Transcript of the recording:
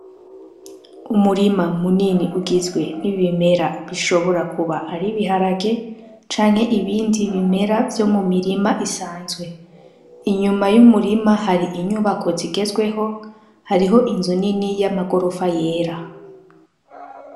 Umurima munini ugizwe n'ibimera bishobora kuba ari ibiharage canke ibindi bimera vyo mu mirima isanzwe. Inyuma y'umurima hari inyubako zigezweho, hariho inzu nini y'amagrofa yera.